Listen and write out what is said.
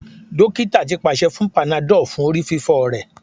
Dokita ti paṣẹ fun panadol fun orififo rẹ